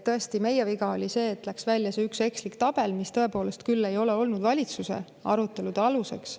Tõesti, meie viga oli see, et läks välja see üks ekslik tabel, mis tõepoolest küll ei ole olnud valitsuse arutelude aluseks.